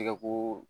Tɛgɛ ko